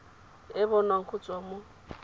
e bonwang go tswa mo